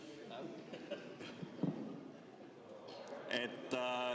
Jätkan.